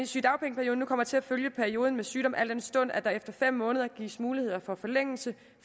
sygedagpengeperioden nu kommer til at følge perioden med sygdom al den stund at der efter fem måneder gives mulighed for forlængelse